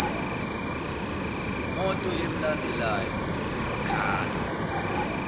moto emlandelayo wakhala